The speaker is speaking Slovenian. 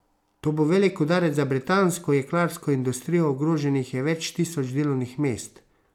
To bo velik udarec za britansko jeklarsko industrijo, ogroženih je več tisoč delovnih mest.